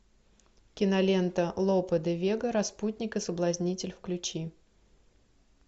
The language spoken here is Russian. кинолента лопе де вега распутник и соблазнитель включи